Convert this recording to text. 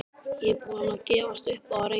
Ég er búinn að gefast upp á að reyna